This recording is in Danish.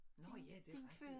Nå ja det rigtig